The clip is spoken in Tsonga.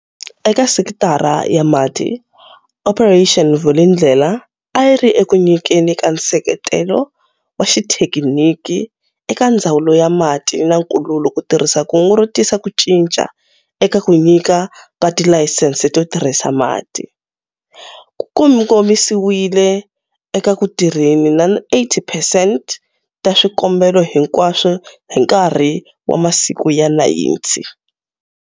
Eka sekitara ya mati, Operation Vulindlela, a yi ri eku nyikeni ka nseketelo wa xithekiniki eka Ndzawulo ya Mati na Nkululo ku tirhisa kungu ro tisa ku cinca eka ku nyika ka tilayisense to tirhisa mati, ku kongomisiwile eka ku tirheni na 80 percent ta swikombelo hinkwaswo hi nkarhi wa masiku ya 90.